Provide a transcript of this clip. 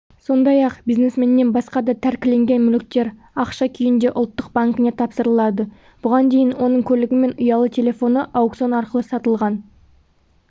сондай-ақ бизнесменнен басқа да тәркіленген мүліктер ақшша күйінде ұлттық банкіне тапсырылады бұған дейін оның көлігі мен ұялы телефоны аукцион арқылы сатылған